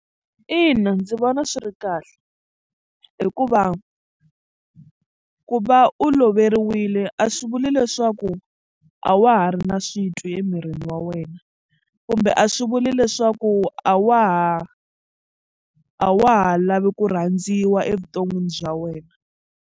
Ina ndzi vona swi ri kahle hikuva ku va u loveriwile a swi vuli leswaku a wa ha ri na switwi emirini wa wena kumbe a swi vuli leswaku a wa ha a wa ha lavi ku rhandziwa evuton'wini bya wena.